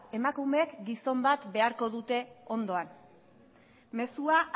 emakumeak gizon bat beharko dute ondoan mezua